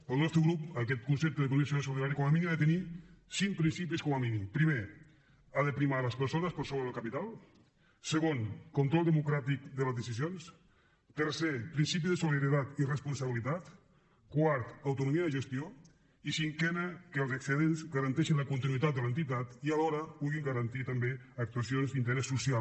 pel nostre grup aquest concepte d’economia social i solidària com a mínim ha de tenir cinc principis primer ha de primar les persones per sobre del capital segon control democràtic de les decisions tercer principi de solidaritat i responsabilitat quart autonomia de gestió i cinquè que els excedents garanteixin la continuïtat de l’entitat i alhora puguin garantir també actuacions d’interès social